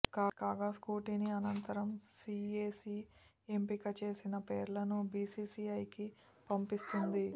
కాగా స్క్రూటినీ అనంతరం సీఏసీ ఎంపిక చేసిన పేర్లను బీసీసీఐకి పంపిస్తుంది